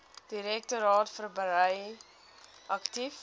direktoraat verbrei aktief